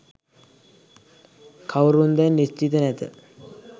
කවුරුන්දැයි නිශ්චිත නැත